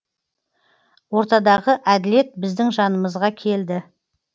ортадағы әділет біздің жанымызға келді